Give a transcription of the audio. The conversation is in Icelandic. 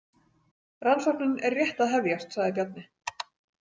Rannsóknin er rétt að hefjast, sagði Bjarni.